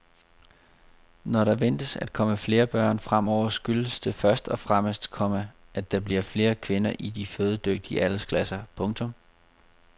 Når der ventes at komme flere børn fremover skyldes det først og fremmest, komma at der bliver flere kvinder i de fødedygtige aldersklasser. punktum